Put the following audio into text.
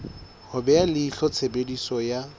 ho beha leihlo tshebediso ya